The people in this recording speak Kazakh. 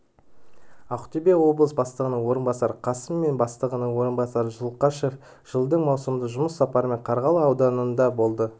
ақтөбе облысы бастығының орынбасары қасым мен бастығының орынбасары зұлқашев жылдың маусымында жұмыс сапарымен қарғалы ауданында болды